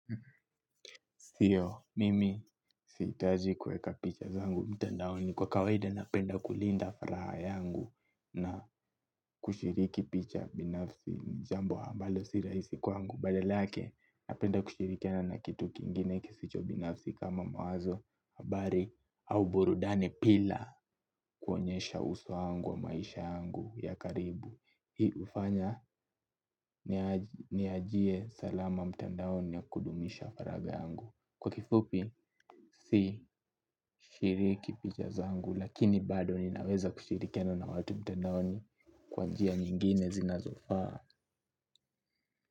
Sio, mimi sihitaji kuweka picha zangu mtandaoni. Kwa kawaida napenda kulinda furaha yangu na kushiriki picha binafsi jambo ambalo si rahisi kwangu. Badala yake napenda kushirikiana na kitu kingine kisicho binafsi kama mawazo, habari au burudani bila kuonyesha uso wangu au maisha yangu ya karibu. Hii hufanya niachie salama mtandaoni ya kudumisha faraga yangu. Kwa kifupi si shiriki picha zangu, lakini bado ninaweza kushirikiana na watu mtandaoni kwa njia nyingine zinazofaa.